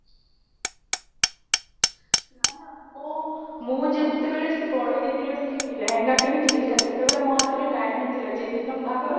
ନା ନା ମୁଁ ମୁଁ ଯେତବେଳେ ସେ ବଡ ଦିଦି ର ସେ ଲେହେଙ୍ଗା କିଣିଥିଲି ସେତବେଳେ ମୋ ହାତରେ time ନ ଥିଲା ଯେ ଦିନ ବାହାଘର